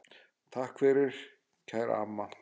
Takk fyrir það, kæra amma.